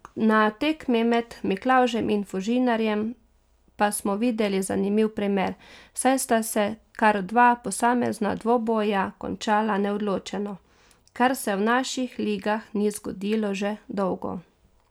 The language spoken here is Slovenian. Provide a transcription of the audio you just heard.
Na tekmi med Miklavžem in Fužinarjem pa smo videli zanimiv primer, saj sta se kar dva posamezna dvoboja končala neodločeno, kar se v naših ligah ni zgodilo že dolgo.